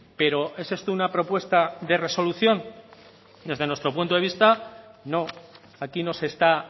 pero es esto una propuesta de resolución desde nuestro punto de vista no aquí no se está